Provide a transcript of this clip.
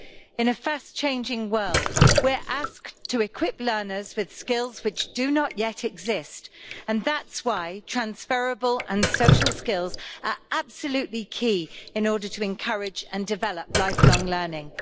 In a fast changing world we are asked to equip learners with skills which do not yet exist, and that's why transferable and social skills are absolutely key in order to encourage and develop lifelong learning.